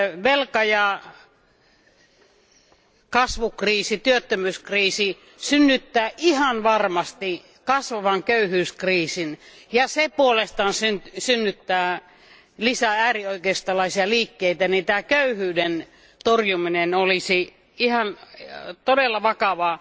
velka kasvu ja työttömyyskriisi synnyttää ihan varmasti kasvavan köyhyyskriisin, ja se puolestaan synnyttää lisää äärioikeistolaisia liikkeitä, niin tämän köyhyyden torjuminen olisi ihan todella vakava